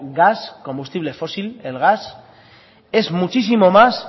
gas combustible fósil el gas es muchísimo más